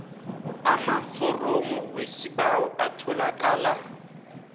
amaforomo wesibawo atholakala